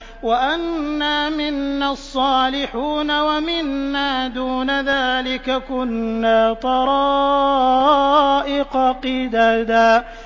وَأَنَّا مِنَّا الصَّالِحُونَ وَمِنَّا دُونَ ذَٰلِكَ ۖ كُنَّا طَرَائِقَ قِدَدًا